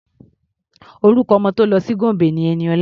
Orúkọ ọmọ tó lọ sí Gombe ni Ẹniọlá.